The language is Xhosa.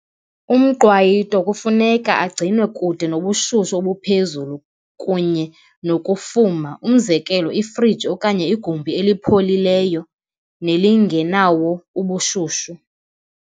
Umqwayito kufuneka agcinwe kude nobushushu obuphezulu kunye nokufuma, umzekelo, ifriji okanye igumbi elipholileyo nelingenawo ubushushu.